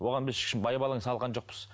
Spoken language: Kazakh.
оған біз ешкім байбалам салған жоқпыз